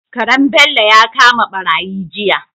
Karen Bello ya kama barayi jiya